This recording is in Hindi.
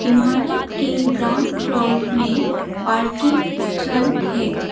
इमारत के ग्राउंड फ्लोर में पार्किंग स्थल है।